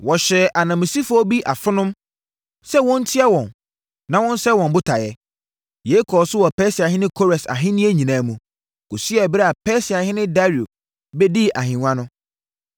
Wɔhyɛɛ ananmusifoɔ bi afonom sɛ wɔntia wɔn na wɔnsɛe wɔn botaeɛ. Yei kɔɔ so wɔ Persiahene Kores ahennie nyinaa mu, kɔsii ɛberɛ a Persiahene Dario bɛdii ahennwa no.